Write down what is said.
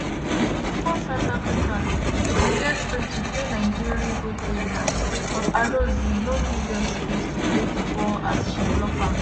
54' south africa bin get freekick near nigeri goal area but alozie no give dem space to play di ball as she block am.